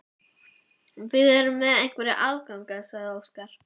Landið hvarf inn í myrkrakompu hugans eða framkallaðist á staðnum.